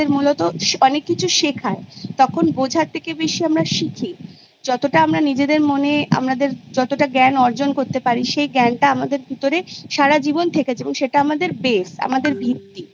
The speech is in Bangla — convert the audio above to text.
তখন বোঝার থেকে বেশি আমরা শিখি যতটা আমরা নিজেদের মনে আমাদের যতটা জ্ঞান অর্জন করতে পারি সেই জ্ঞানটা আমাদের ভিতরে সারাজীবন থেকেছে এবং সেটা আমাদের Base আমাদের ভিত্তি